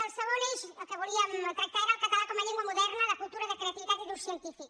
el segon eix que volíem tractar era el català com a llengua moderna de cultura de creativitat i d’ús cien tífic